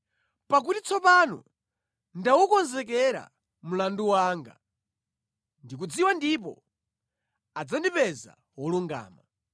Pakuti tsopano ndawukonzekera mlandu wanga, ndikudziwa ndipo adzandipeza wolungama.